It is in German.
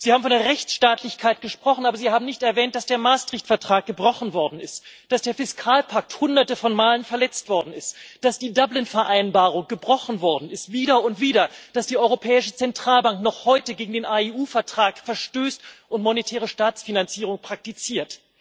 Sie haben von der Rechtsstaatlichkeit gesprochen, aber Sie haben nicht erwähnt, dass der Maastricht Vertrag gebrochen worden ist, dass der Fiskalpakt Hunderte von Malen verletzt worden ist, dass die Dublin Vereinbarung wieder und wieder gebrochen worden ist, dass die Europäische Zentralbank noch heute gegen den AEU Vertrag verstößt und monetäre Staatsfinanzierung praktiziert.